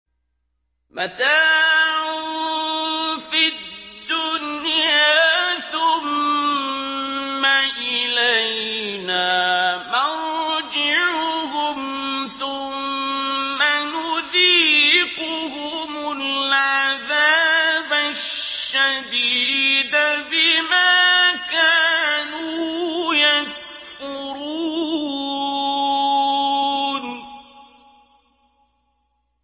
مَتَاعٌ فِي الدُّنْيَا ثُمَّ إِلَيْنَا مَرْجِعُهُمْ ثُمَّ نُذِيقُهُمُ الْعَذَابَ الشَّدِيدَ بِمَا كَانُوا يَكْفُرُونَ